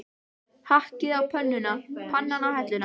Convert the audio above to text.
Hakkið á pönnuna, pannan á helluna.